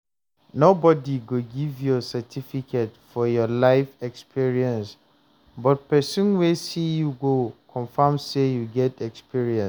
Nobody go give your certificate for your life experience but person wey see you go confirm sey you get experience